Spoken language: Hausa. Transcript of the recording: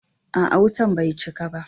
A'a, wutan bai cika ba.